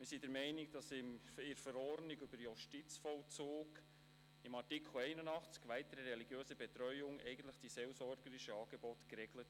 Wir sind der Meinung, dass Artikel 81, «Weitere religiöse Betreuung», der JVV die seelsorgerischen Angebote eigentlich regelt.